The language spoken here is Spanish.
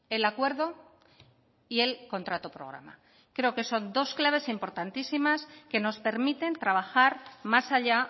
el acuerdo y el contrato programa creo que son dos claves importantísimas que nos permiten trabajar más allá